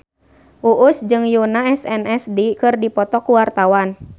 Uus jeung Yoona SNSD keur dipoto ku wartawan